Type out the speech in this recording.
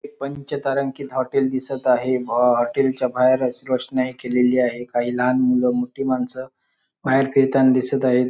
पंचतारांकित हॉटेल दिसत आहे हॉटेल च्या बाहेर अशी रोषणाई केलेली आहे काही लहान मूल मोठी माणसं बाहेर फिरताना दिसत आहेत.